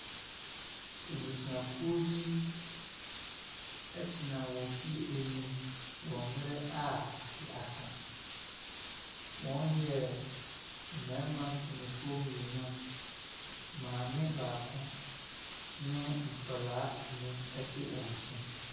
Abusuakuo bi tena wɔn fie anim wɔ mmerɛ a ade asa. Wɔyɛ mmarima mpanimfoɔ mmienu, maame baako ne nkwadaa nnum tena wɔn nkyɛn.